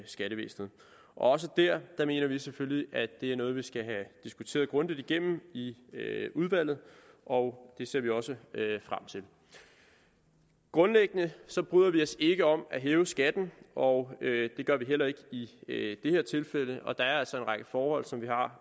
skattevæsenet også der mener vi selvfølgelig at det er noget vi skal have diskuteret grundigt igennem i udvalget og det ser vi også frem til grundlæggende bryder vi os ikke om at hæve skatten og det gør vi heller ikke i det her tilfælde og der er altså en række forhold som vi har